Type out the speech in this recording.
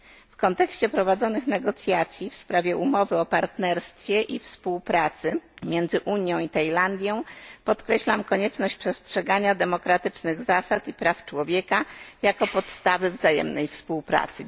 W kontekście prowadzonych negocjacji w sprawie umowy o partnerstwie i współpracy między Unią i Tajlandią podkreślam konieczność przestrzegania demokratycznych zasad i praw człowieka jako podstawy wzajemnej współpracy.